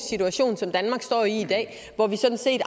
situation som danmark står i i dag hvor vi sådan set